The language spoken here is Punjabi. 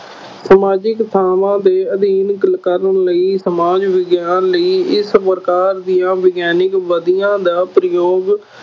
ਸਮਾਜਿਕ ਥਾਵਾਂ ਦੇ ਅਧਿਐਨ ਕ~ ਕਰਨ ਲਈ ਸਮਾਜ ਵਿਗਿਆਨ ਲਈ ਇਸ ਪ੍ਰਕਾਰ ਦੀਆਂ ਵਿਗਿਆਨਕ ਵਿਧੀਆ ਦਾ ਪ੍ਰਯੋਗ